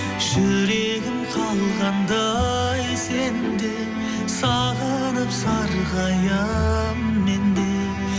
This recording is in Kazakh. жүрегім қалғандай сен деп сағынып сарғаямын мен де